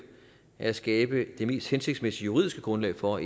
er at skabe det mest hensigtsmæssige juridiske grundlag for